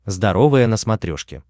здоровое на смотрешке